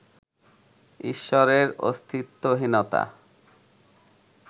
ঈশ্বরের অস্তিত্বহীনতা